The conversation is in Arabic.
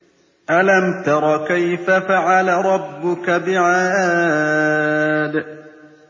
أَلَمْ تَرَ كَيْفَ فَعَلَ رَبُّكَ بِعَادٍ